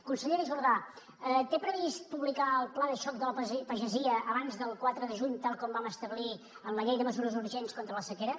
consellera jordà té previst publicar el pla de xoc de la pagesia abans del quatre de juny tal com vam establir en la llei de mesures urgents contra la sequera